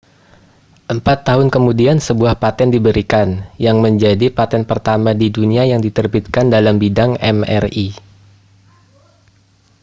empat tahun kemudian sebuah paten diberikan yang menjadi paten pertama di dunia yang diterbitkan dalam bidang mri